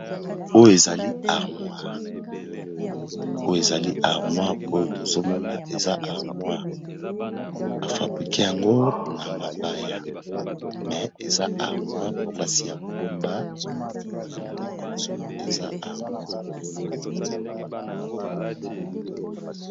Oyo ezali armoire oyo ezali armoire oyo tozo mona eza armoire ba fabrique yango na mabaya, me eza armoire place ya ko bomba ba biloko eza armoire.